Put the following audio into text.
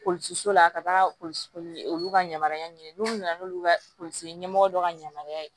so la ka taa olu ka yamaruya ɲini n'u nana n'olu ka ɲɛmɔgɔ dɔ ka yamaruya ye